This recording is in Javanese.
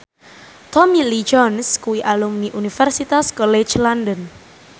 Tommy Lee Jones kuwi alumni Universitas College London